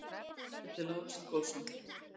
Leikmynd eftir Lárus Ingólfsson.